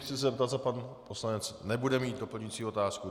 Chci se zeptat, zda pan poslanec nebude mít doplňující otázku.